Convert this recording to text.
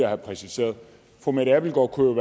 have præciseret fru mette abildgaard kunne